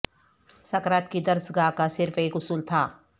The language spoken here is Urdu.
سقراط کی درس گاہ کا صرف ایک اصول تھا